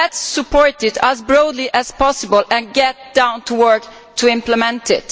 Let us support it as broadly as possible and get down to work to implement it.